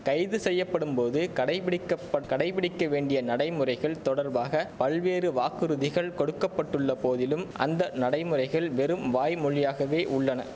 கைது செய்யப்படும் போது கடைப்பிடிக்கபட் கடைப்பிடிக்க வேண்டிய நடைமுறைகள் தொடர்பாக பல்வேறு வாக்குறுதிகள் கொடுக்க பட்டுள்ள போதிலும் அந்த நடைமுறைகள் வெறும் வாய்மொழியாகவே உள்ளன